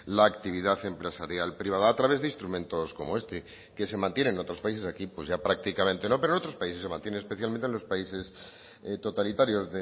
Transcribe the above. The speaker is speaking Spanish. la actividad empresarial privada a través de instrumentos como este que se mantienen otros países aquí pues ya prácticamente no pero en otros países se mantiene especialmente en los países totalitarios